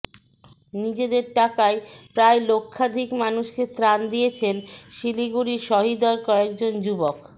নিজেদের টাকায় প্রায় লক্ষাধিক মানুষকে ত্রাণ দিয়েছেন শিলিগুড়ির সহৃদয় কয়েকজন যুবক